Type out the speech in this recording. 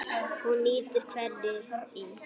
Hún nýtir hveri í